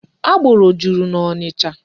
Agboro juru n'Ọnịcha.